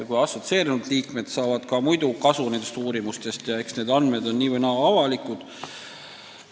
Eks riigid saavad ka muidu nendest uuringutest kasu – andmed on nii või naa avalikud.